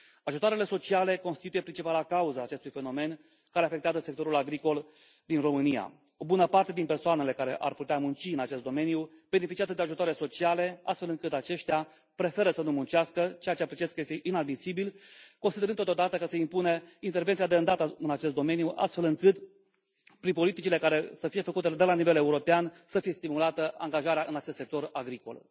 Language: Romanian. Ajutoarele sociale constituie principala cauză a acestui fenomen care afectează sectorul agricol din România. O bună parte din persoanele care ar putea munci în acest domeniu beneficiază de ajutoare sociale, astfel încât acestea preferă să nu muncească, ceea ce apreciez că este inadmisibil, considerând totodată că se impune intervenția de îndată în acest domeniu, astfel încât prin politicile care să fie făcute de la nivel european să fie stimulată angajarea în acest sector agricol.